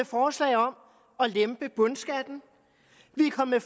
forslag om at lempe bundskatten vi er kommet